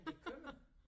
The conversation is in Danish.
Men det kommer